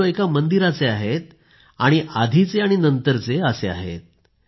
हे फोटो एका मंदिराचे आहेत आणि आधीचे आणि नंतरचे असे आहेत